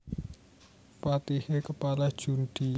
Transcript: Patihe kepala judhi